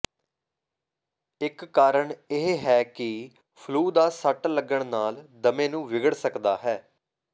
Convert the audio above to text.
ਇਕ ਕਾਰਨ ਇਹ ਹੈ ਕਿ ਫਲੂ ਦਾ ਸੱਟ ਲੱਗਣ ਨਾਲ ਦਮੇ ਨੂੰ ਵਿਗੜ ਸਕਦਾ ਹੈ